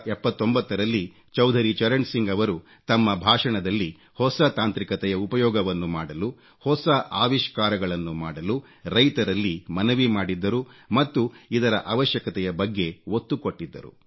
1979 ರಲ್ಲಿ ಚೌಧರಿ ಚರಣ್ ಸಿಂಗ್ ರವರು ತಮ್ಮ ಭಾಷಣದಲ್ಲಿ ಹೊಸ ತಾಂತ್ರಿಕತೆಯ ಉಪಯೋಗವನ್ನು ಮಾಡಲು ಹೊಸ ಅವಿಷ್ಕಾರಗಳನ್ನು ಮಾಡಲು ರೈತರಲ್ಲಿ ಮನವಿ ಮಾಡಿದ್ದರು ಮತ್ತು ಇದರ ಅವಶ್ಯಕತೆಯ ಬಗ್ಗೆ ಒತ್ತು ಕೊಟ್ಟಿದ್ದರು